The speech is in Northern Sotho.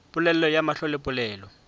polelo ya mahlo le polelo